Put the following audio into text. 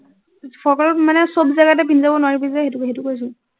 ফ্ৰকৰ লগত মানে চব জেগাতে পিন্ধি যাব নোৱাৰিবি যে, সেইটো সেইটো কৈছো,